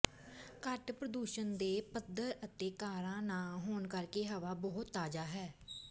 ਘੱਟ ਪ੍ਰਦੂਸ਼ਣ ਦੇ ਪੱਧਰ ਅਤੇ ਕਾਰਾਂ ਨਾ ਹੋਣ ਕਰਕੇ ਹਵਾ ਬਹੁਤ ਤਾਜ਼ਾ ਹੈ